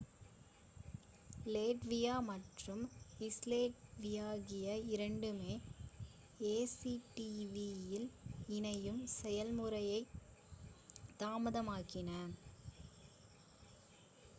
லேட்வியா மற்றும் ஸ்லோவேகியா இரண்டுமே ஏசிடிஏவில் இணையும் செயல்முறையை தாமதமாக்கின